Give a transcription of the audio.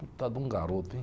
de um garoto, hein?